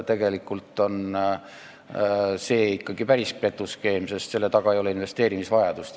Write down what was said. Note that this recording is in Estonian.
Tegelikult on see ikkagi päris petuskeem, sest selle taga ei ole investeerimisvajadust.